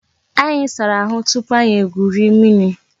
Anyị sara ahụ tupu anyị egwuri mmiri